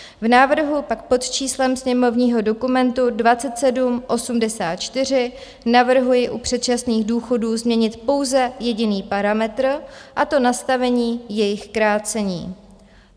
V návrhu pak pod číslem sněmovního dokumentu 2784 navrhuji u předčasných důchodů změnit pouze jediný parametr, a to nastavení jejich krácení.